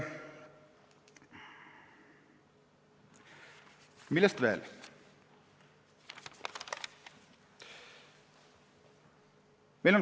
Millest veel rääkida?